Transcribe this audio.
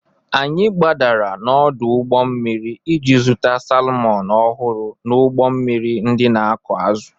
Anyị gbadara n'ọdụ ụgbọ mmiri iji zụta salmọn ọhụrụ n'ụgbọ mmiri ndị na-akụ azụ.